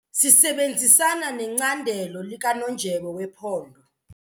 Sisebenzisana necandelo likanondyebo wephondo.